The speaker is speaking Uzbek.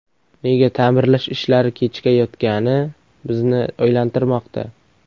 Nega ta’mirlash ishlari kechikayotgani bizni o‘ylantirmoqda.